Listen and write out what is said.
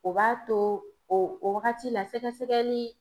O b'a to o wagati la sɛgɛsɛgɛli